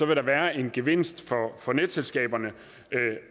der være en gevinst for netselskaberne